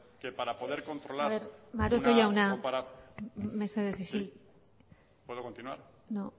que para poder controlar maroto jauna mesedez isildu puedo continuar no